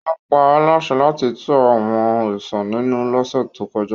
Wọ́n pa á láṣẹ láti tu àwọn òrìṣà ninu lọ́sẹ̀ tó kọjá